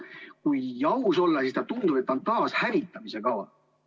Kui aus olla, siis tundub, et see on taashävitamise kava.